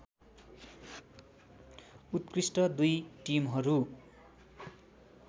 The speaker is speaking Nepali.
उत्कृष्ट दुई टिमहरू